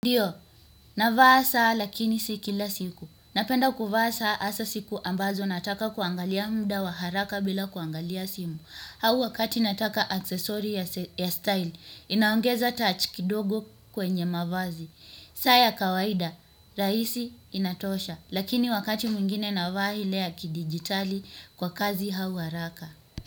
Ndiyo, navaa saa lakini si kila siku. Napenda kuvaa saa hasa siku ambazo nataka kuangalia muda wa haraka bila kuangalia simu. Au wakati nataka aksesori ya style, inaongeza touch kidogo kwenye mavazi. Saa ya kawaida, rahisi inatosha. Lakini wakati mwingine navaa ile ya kidigitali kwa kazi au haraka.